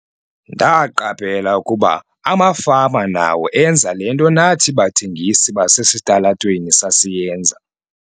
"Ndaqaphela ukuba amafama nawo enza le nto nathi bathengisi basesitalatweni sasiyenza."